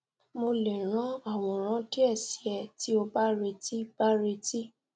mo le ran aworan die si e ti o ba reti ba reti